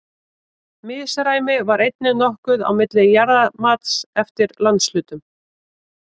Misræmi var einnig nokkuð á milli jarðamats eftir landshlutum.